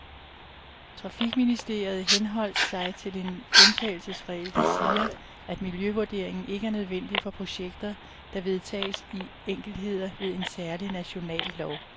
Trafikministeriet henholdt sig til en undtagelsesregel, der siger, at miljøvurderingen ikke er nødvendig for projekter, der vedtages i enkeltheder ved en særlig national lov.